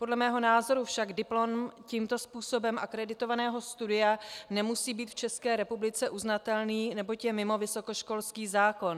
Podle mého názoru však diplom tímto způsobem akreditovaného studia nemusí být v České republice uznatelný neboť je mimo vysokoškolský zákon.